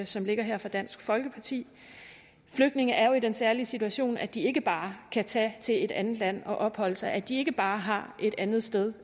som ligger her fra dansk folkeparti flygtninge er jo i den særlige situation at de ikke bare kan tage til et andet land og opholde sig at de ikke bare har et andet sted